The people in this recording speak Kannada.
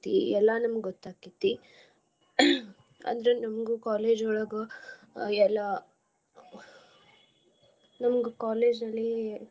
ಎಲ್ಲಾ ನಮ್ಗ ಗೊತ್ ಆಕ್ಕೇತಿ ಅಂದ್ರೆ ನಮ್ಗು college ನೊಳಗ ಅಹ್ ಎಲ್ಲಾ ನಮ್ಗ college ಅಲ್ಲಿ.